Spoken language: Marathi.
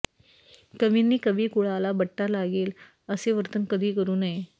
कवींनी कवी कुळाला बट्टा लागेल असे वर्तन कधी करू नये